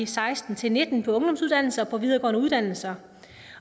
seksten til nitten på ungdomsuddannelser og på videregående uddannelser